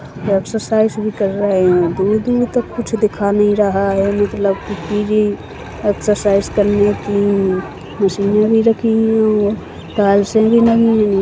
Exercise भी कर रहा है दूर दूर तक कुछ दिखा नहीं रहा है लेकिन एक्स्सरसाइज़ करने की मशीने भी रखी हुई है तल्सेल भी नहीं मिली।